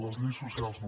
les lleis socials no